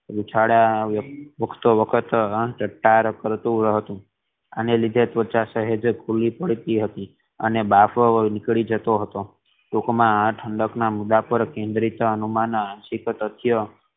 ઉછાળા કરતુ હતું અને લીધી હવા સહેજ ખુલી પડતી હતી અને બાર નીકળી જતો હતો ટૂંક માં આ ઠંડક ના મુદ્દા પર કેન્દ્રિત અનુમાન શક્ય.